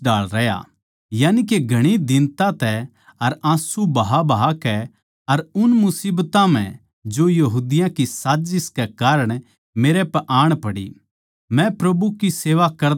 यानिके घणी दीनता तै अर आँसू बहाबहाकै अर उन मुसीबतां म्ह जो यहूदियाँ की साजिस कै कारण मेरै पै आण पड़ी मै प्रभु की सेवा करदा ए रहया